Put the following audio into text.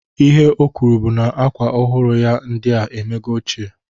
Ihe o kwuru bụ na akwa ọhụrụ ya ndịa emego ochie